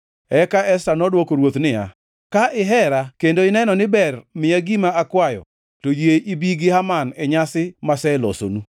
Esta nodwoko ruoth niya, “Ka ihera kendo ineno ni ber miya gima akwayo, to yie ibi gi Haman e nyasi maselosonu.”